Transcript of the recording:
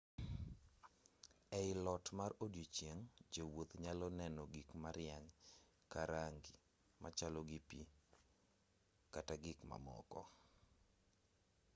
ei lot mar odieching' jowuoth nyalo neno gik marieny ka rang'i machalo gi pi kata gik mamoko